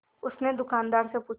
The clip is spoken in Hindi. उसने दुकानदार से पूछा